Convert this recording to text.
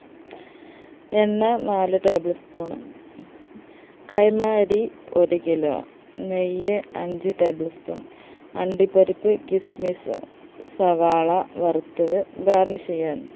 എണ്ണ നാല് tablespoon കൈമ അരി ഒരു kilo നെയ്യ് അഞ്ച്‌ tablespoon അണ്ടിപ്പരിപ്പ് kismis സവാള വറുത്തത് garnish ചെയ്യാൻ